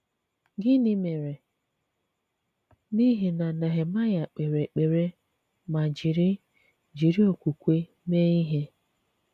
Gịnị̀ mèrè n’ihi na Nehemayà k̀pèrè èkpèrè ma jiri jiri okwùkwè mee ihe?